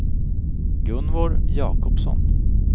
Gunvor Jakobsson